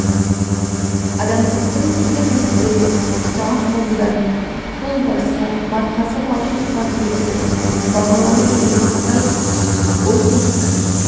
адамзаттың келер нәсілдердің жаңа қауымдарының тол басы марқасы балғын қуат иесі бағланы келе жатқандай ол болса